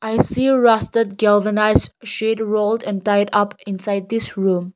we see a rusted galvanized sheet rolled and tied up inside this room.